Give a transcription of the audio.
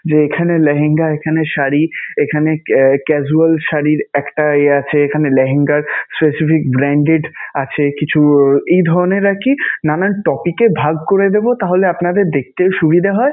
যে এখানে লেগেঙ্গা, এখানে শাড়ী, এখানে casual শাড়ীর একটা আহ আছে, এখানে লেহেঙ্গার specific branded আছে কিছু এই ধরণের আরকি নানান topic এ ভাগ করে দেবো. তাহলে আপনাদের দেখতেও সুবিধা হয়